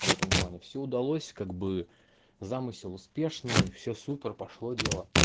в этом плане всё удалось как бы замысел успешный все супер пошло дело